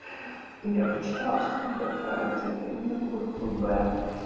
я прочитала что не хватает витаминов группы б